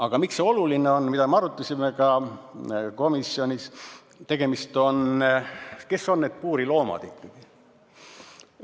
Aga miks see oluline on, mida me arutasime ka komisjonis, et kes need puuriloomad ikkagi on?